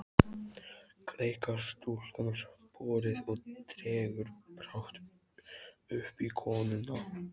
Greikkar stúlkan sporið og dregur brátt uppi konuna.